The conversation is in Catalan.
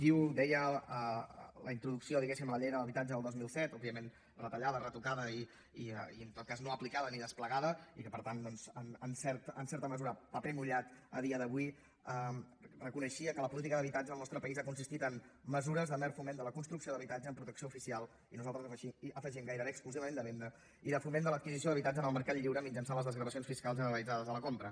diu deia la introducció diguéssim a la llei de l’habitatge del dos mil set òbviament retallada retocada i en tot cas no aplicada ni desplegada i per tant doncs en certa mesura paper mullat a dia d’avui reconeixia que la política d’habitatge al nostre país ha consistit en mesures de mer foment de la construcció d’habitatges amb protecció oficial i nosaltres hi afegim gairebé exclusivament de venda i de foment de l’adquisició d’habitatge en el mercat lliure mitjançant les desgravacions fiscals generalitzades de la compra